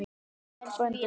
Sæll frændi!